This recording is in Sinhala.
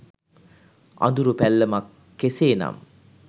අඳුරු පැල්ලමක් කෙසේනම්